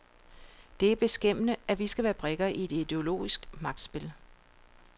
Det er beskæmmende, at vi skal være brikker i et ideologisk magtspil.